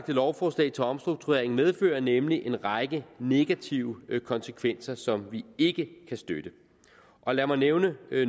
lovforslag til omstrukturering medfører nemlig en række negative konsekvenser som vi ikke kan støtte lad mig nævne